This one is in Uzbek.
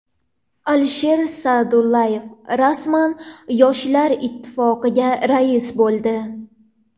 Alisher Sa’dullayev rasman Yoshlar ittifoqiga rais bo‘ldi.